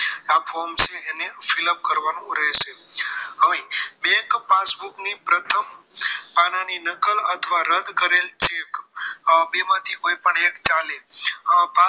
આ form છે તેને fill up કરવાનું રહેશે અહીં bank passbook ની પ્રથમ પાનાની નકલ અથવા રદ કરેલ ચેક બેમાંથી કોઈ પણ એક ચાલે